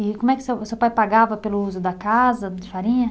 E como é que seu, o seu pai pagava pelo uso da casa de farinha?